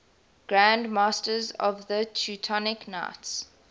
grand masters of the teutonic knights